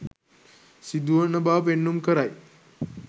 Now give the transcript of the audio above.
සිදුවන බව පෙන්නුම් කරයි.